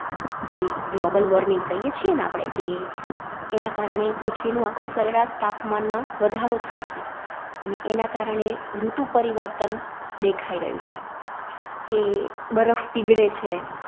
જે Global warming કઈએ છીએ ને આપડે કે, એના કારણે પૃથ્વીનું આખુ સરેરાશ તાપમાનમાં વધારો થાય છે, અને એના કારણે ઋતુ પરિવર્તન દેખાઈ રાયું છે. કે બરફ પીગળે છે.